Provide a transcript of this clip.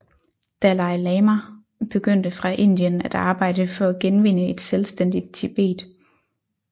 Dalai Lama begyndte fra Indien at arbejde for at genvinde et selvstændigt Tibet